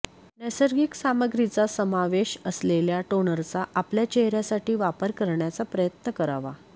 नैसर्गिक सामग्रींचा समावेश असलेल्या टोनरचा आपल्या चेहऱ्यासाठी वापर करण्याचा प्रयत्न करावा